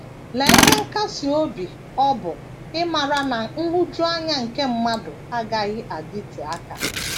Lee ihe nkasi obi ọ bụ ịmara na nhụjuanya nke mmadụ agaghị adịte aka!